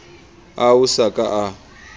ao a sa ka a